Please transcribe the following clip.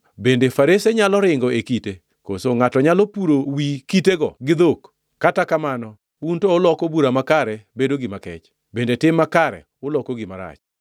Bende farese nyalo ringo e kite, koso ngʼato nyalo puro wi kitego gi dhok? Kata kamano, un to uloko bura makare bedo gima kech, bende tim makare uloko gima rach.